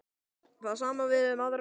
Það sama á við um aðra leikmenn?